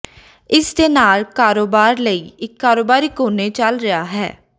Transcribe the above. ਇਸ ਦੇ ਨਾਲ ਕਾਰੋਬਾਰ ਲਈ ਇੱਕ ਕਾਰੋਬਾਰੀ ਕੋਨੇ ਚੱਲ ਰਿਹਾ ਹੈ